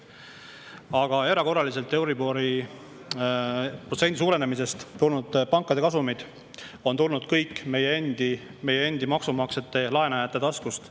Aga erakorralisest euribori protsendi suurenemisest tulnud pankade kasumid on meie endi, kõigi maksumaksjate, laenu taskust.